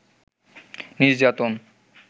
নির্যাতন